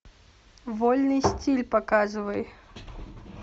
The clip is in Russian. вольный стиль показывай